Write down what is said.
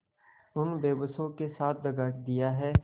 उन बेकसों के साथ दगा दिया है